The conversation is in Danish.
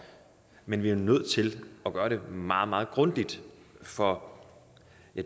men vi er nødt til at gøre det meget meget grundigt for